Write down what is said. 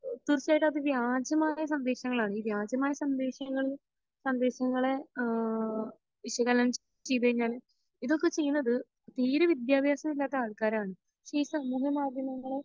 തീർച്ചയായിട്ടും അത് വ്യാജമായ സന്ദേശങ്ങളാണ് ഈ വ്യാജമായ സന്ദേശങ്ങൾ സന്ദേശങ്ങളെ ഏഹ് വിശകലനം ചെയ്തു കഴിഞ്ഞാൽ ഇതൊക്കെ ചെയ്യുന്നത് തീരെ വിദ്യാഭ്യാസം ഇല്ലാത്ത ആൾകാർ ആണ് പക്ഷെ ഈ സമൂഹ മാധ്യമങ്ങളെ